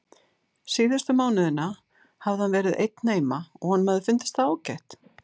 Síðustu mánuðina hafði hann verið einn heima og honum hafði fundist það ágætt.